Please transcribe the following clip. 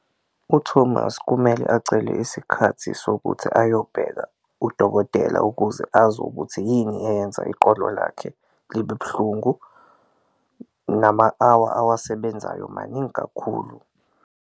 UThomas kumele acele isikhathi sokuthi ayobheka udokotela ukuze azi ukuthi yini eyenza iqolo lakhe libe buhlungu, nama-hour awasebenzayo maningi kakhulu.